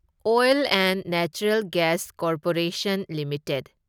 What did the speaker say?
oil and natural gas corporation limited